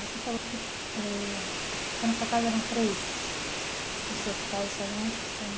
Você falou que eh então na sua casa eram três, os seus pais e as suas mães são.